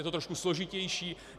Je to trošku složitější.